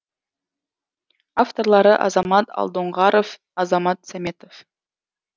авторлары азамат алдоңғаров азамат сәметов